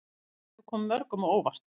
Þetta hefur komið mörgum á óvart